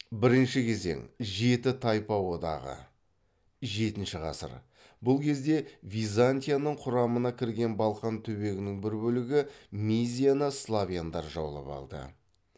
бірінші кезең жеті тайпа одағы бұл кезде византияның құрамына кірген балқан түбегінің ірі бөлігі мизияны славяндар жаулап алды